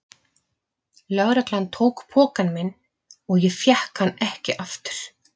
Lögreglan tók pokann minn og ég fékk hann ekki aftur.